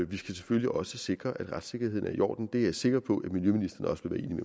vi skal selvfølgelig også sikre at retssikkerheden er i orden det er jeg sikker på